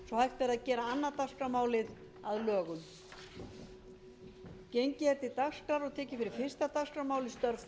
að loknum þessum svo hægt verði að gera annað dagskrármálið að lögum